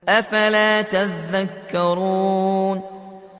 أَفَلَا تَذَكَّرُونَ